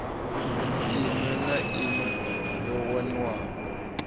iṋwe na iṋwe yo waniwaho